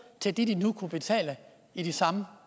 til det de nu kunne betale i de samme